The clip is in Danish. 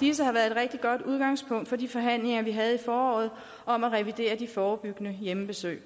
disse har været et rigtig godt udgangspunkt for de forhandlinger vi havde i foråret om at revidere de forebyggende hjemmebesøg